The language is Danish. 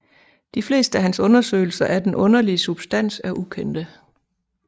De fleste af hans undersøgelser af den underlige substans er ukendte